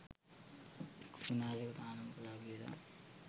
කෘමි නාශක තහනම් කළා කියලා.